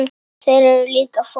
Þeir eru líka fólk.